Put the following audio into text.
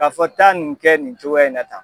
K'a fɔ taa nin kɛ nin cogoya in na tan.